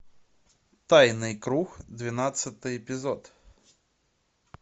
тайный круг двенадцатый эпизод